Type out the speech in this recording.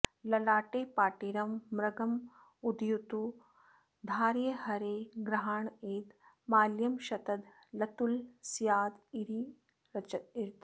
ललाटे पाटीरं मृगमदयुतं धारय हरे गृहाणेदं माल्यं शतदलतुलस्यादिरचितम्